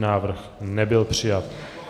Návrh nebyl přijat.